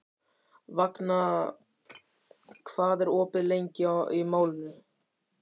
Vagna, hvað er opið lengi í Málinu?